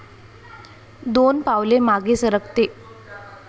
दोन पावले मागे सरकते.